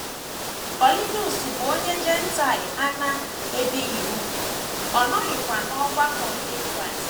Kọniliọs bụ onye Jentaịl a na - ebighị úgwù, ọ nọghịkwa n’ọgbakọ ndị Kraịst.